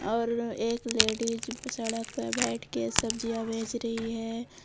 और एक लेडिज सड़क पे बैठके सब्जियां बेच रही है।